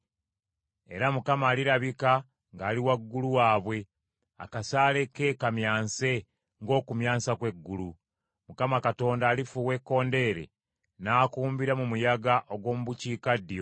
Era Mukama alirabika ng’ali waggulu waabwe, akasaale ke kamyanse ng’okumyansa kw’eggulu. Mukama Katonda alifuuwa ekkondeere, n’akumbira mu muyaga ogw’omu bukiikaddyo.